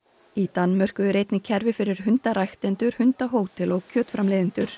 í Danmörku er einnig kerfi fyrir hundahótel og kjötframleiðendur